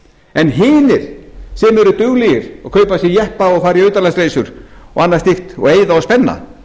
en hinir sem eru duglegir og kaupa sér jeppa og fara í utanlandsreisur og annað slíkt og eyða og spenna